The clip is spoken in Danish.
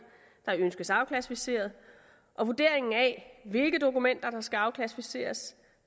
der ønskes afklassificeret og vurderingen af hvilke dokumenter der skal afklassificeres